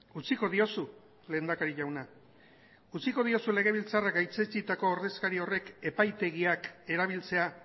utziko diozu lehendakari jauna utziko diozu legebiltzarrak gaitzetsitako ordezkari horrek epaitegiak erabiltzea